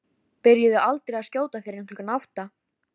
Byrjuðu aldrei að skjóta fyrir klukkan átta.